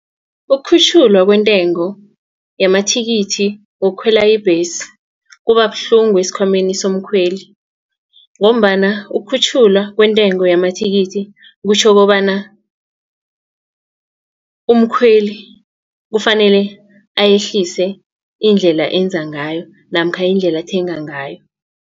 Ukukhutjhulwa kwentengo yamathikithi wokukhwela ibhesi kubabuhlungu esikhwameni somkhweli. Ngombana ukukhutjhulwa kwentengo yamathikithi kutjho kobana umkhweli kufanele ayehlise indlela enza ngayo namkha indlela athenga ngayo.